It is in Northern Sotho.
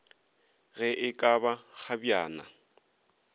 ge e ka ba kgabjana